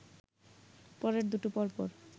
পরের দুটো পরপর